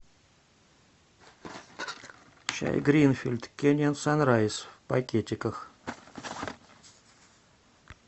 чай гринфилд кениан санрайз в пакетиках